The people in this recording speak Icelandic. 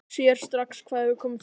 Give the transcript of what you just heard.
Sér strax hvað hefur komið fyrir.